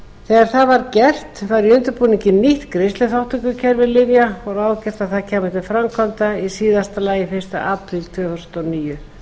þegar það var gert var í undirbúningi nýtt greiðsluþátttökukerfi lyfja og ráðgert að það kæmi til framkvæmda í síðasta lagi fyrsta apríl tvö þúsund og níu